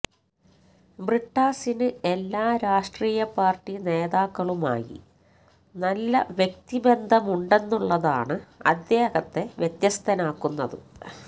ബ്രിട്ടാസിന് എല്ലാം രാഷ്ട്രീയ പാർട്ടി നേതാക്കളുമായി നല്ല വ്യക്തി ബന്ധമുണ്ടെന്നുള്ളതാണ് അദ്ദേഹത്ത വ്യത്യസ്തനാക്കുന്നത്